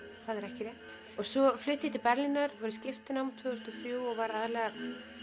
það er ekki rétt svo flutti ég til Berlínar var í skiptinámi tvö þúsund og þrjú og var aðallega